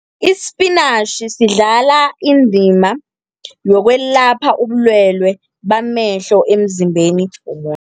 Ispinatjhi sidlala indima yokwelapha ubulwele bamehlo emzimbeni